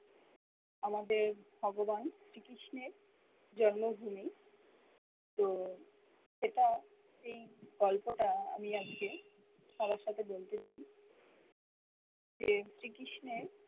আমাদের ভগবান শ্রী কৃষ্ণের জন্ম ভূমি তো এটা সেই গল্প টা আমি আজকে সবার সাথে বলতে চাই যে শ্রী কৃষ্ণের